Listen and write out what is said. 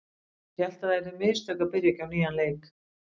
Ég held að það yrðu mistök að byrja ekki á nýjan leik.